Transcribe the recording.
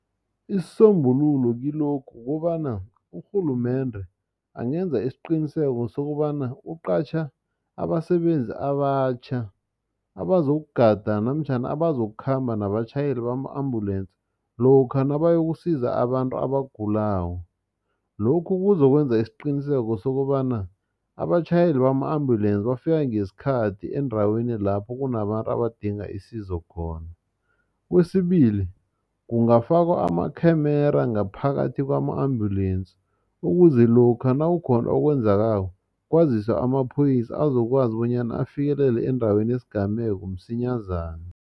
Isisombululo kilokhu kukobana urhulumende angenza isiqiniseko sokobana uqatjha abasebenzi abatjha abazokugada namtjhana abazokukhamba nabatjhayeli bama-ambulensi lokha nabayokusiza abantu abagulako lokhu kuzokwenza isiqiniseko sokobana abatjhayeli bama-ambulensi bafika ngesikhathi eendaweni lapho kunabantu abadinga isizo khona. Kwesibili kungafakwa ama-camera ngaphakathi kwama-ambulensi ukuze lokha nakukhona okwenzakalako kwaziswe amaphoyisa azokwazi bonyana afikelele endaweni yesigameko msinyazana.